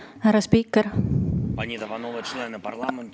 Härra spiiker!